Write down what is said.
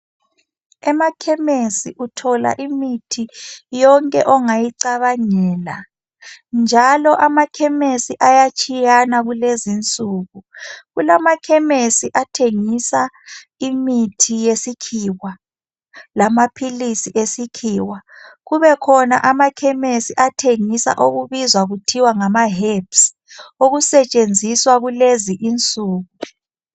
Emakhemesi uthola yonke imithi ongayicabangela, njalo amakhemesi ayatshiyana kulezinsuku. Kulamakhemesi athengisa imithi yesikhiwa lamaphilisi esikhiwa, kubekhona amakhemesi athengisa okubizwa kuthiwa ngama herbs okusetshenziswa kulezinsuku.